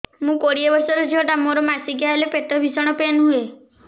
ମୁ କୋଡ଼ିଏ ବର୍ଷର ଝିଅ ଟା ମୋର ମାସିକିଆ ହେଲେ ପେଟ ଭୀଷଣ ପେନ ହୁଏ